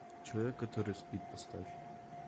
человек который спит поставь